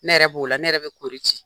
Ne yɛrɛ b'o la ne yɛrɛ bɛ kori ci.